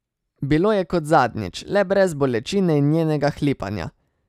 Bilo je kot zadnjič, le brez bolečine in njenega hlipanja.